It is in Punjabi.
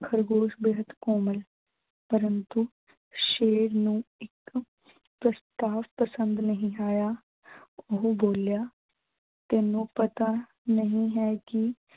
ਖ਼ਰਗੋਸ਼ ਬੇਹੱਦ ਕੋਮਲ। ਪਰੰਤੂ ਸ਼ੇਰ ਨੂੰ ਇੱਕ ਪ੍ਰਸਤਾਵ ਪਸੰਦ ਨਹੀਂ ਆਇਆ। ਓਹੋ ਬੋਲਿਆ ਤੈਨੂੰ ਪਤਾ ਨਹੀਂ ਹੈ ਕਿ